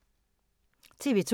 TV 2